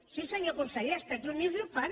sí senyor conseller als estats units ho fan